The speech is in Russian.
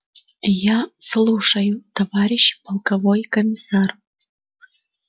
я слушаю товарищ полковой комиссар